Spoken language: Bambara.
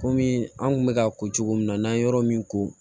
Kɔmi an kun bɛ ka ko cogo min na n'an ye yɔrɔ min ko